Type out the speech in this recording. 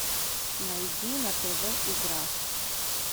найди на тв игра